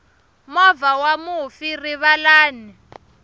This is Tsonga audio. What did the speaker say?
movha wa mufi rivalani